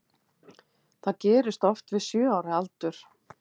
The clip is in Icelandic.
Það gerist oft við sjö ára aldur.